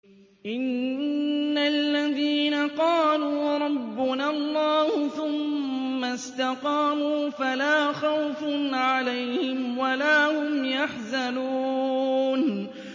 إِنَّ الَّذِينَ قَالُوا رَبُّنَا اللَّهُ ثُمَّ اسْتَقَامُوا فَلَا خَوْفٌ عَلَيْهِمْ وَلَا هُمْ يَحْزَنُونَ